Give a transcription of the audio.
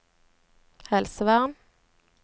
helsevern